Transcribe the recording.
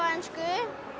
ensku